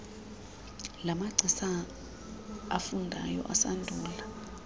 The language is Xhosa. lamagcisa afundayo asandula